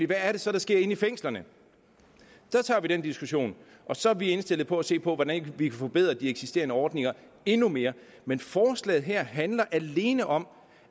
hvad er det så der sker inde i fængslerne der tager vi den diskussion og så er vi indstillet på at se på hvordan vi kan forbedre de eksisterende ordninger endnu mere men forslaget her handler alene om